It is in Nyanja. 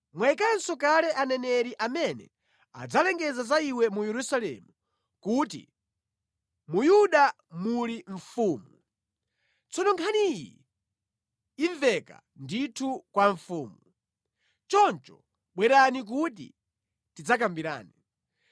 Mwayikanso kale aneneri amene adzalengeza za iwe mu Yerusalemu kuti ‘Mu Yuda muli mfumu!’ Tsono nkhani iyi imveka ndithu kwa mfumu. Choncho bwerani kuti tidzakambirane.”